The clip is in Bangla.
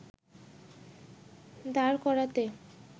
দাঁড় করাতে